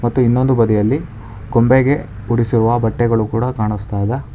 ಮತ್ತು ಇನ್ನೊಂದು ಬದಿಯಲ್ಲಿ ಗೊಂಬೆಗೆ ಉಡಿಸುವ ಬಟ್ಟೆಗಳು ಕೂಡ ಕಾಣಿಸ್ತಾ ಇದೆ.